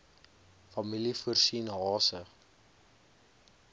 familie voorsien hase